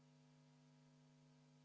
Head ametikaaslased!